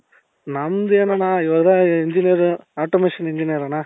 ನಮ್ದ್ ಏನಣ್ಣ ಇವಾಗ engineer automation engineer ಅಣ್ಣ.